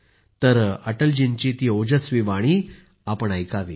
श्रोत्यांनी अटल जींची ती ओजस्वी वाणी ऐकावी